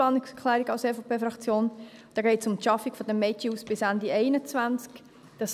da geht es um die Schaffung des Mädchenhauses bis Ende 2021.